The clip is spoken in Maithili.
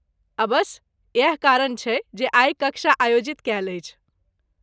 अबस्स, इएह कारण छै जे आइ कक्षा आयोजित कैल अछि।